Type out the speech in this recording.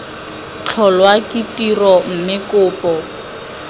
tlholwa ke tiro mme kopo